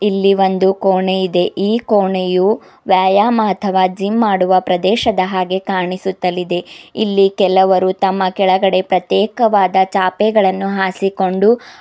ಇಲ್ಲಿ ಒಂದು ಕೋಣೆ ಇದೆ ಈ ಕೋಣೆಯು ವ್ಯಾಯಾಮ ಅಥವಾ ಜಿಮ್ ಮಾಡುವ ಪ್ರದೇಶದ ಹಾಗೇ ಕಾಣಿಸುತ್ತಲಿದೆ ಇಲ್ಲಿ ಕೆಲವರು ತಮ್ಮ ಕೆಳಗಡೆ ಪ್ರತ್ಯೇಕವಾದ ಚಾಪೆಗಳನ್ನು ಹಾಸಿಕೊಂಡು ಅ--